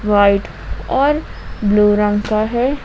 White और blue रंग का है।